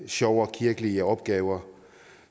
sjovere kirkelige opgaver